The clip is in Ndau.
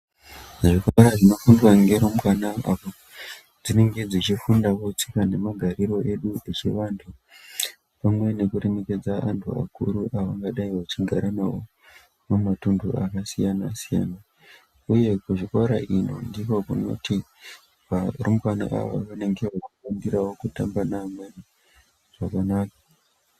Zvikora zvinofundwa ngerumbwana apo dzinenge dzichifundawo tsika nemagariro edu sevandu pamwe nekuremekedza antu akuru avangadai vechigara navo pamatundu akasiyana siyana uye kuzvikora ino ndiko kunoti varumbwana avavo vanenge veifundirawo kutamba nevamweni zvakanaka.